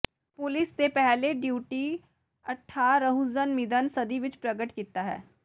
police ਦੇ ਪਹਿਲੇ duty ਅਠਾਰਹ੍ਵਜਨਮਿਦਨ ਸਦੀ ਵਿਚ ਪ੍ਰਗਟ ਕੀਤਾ ਹੈ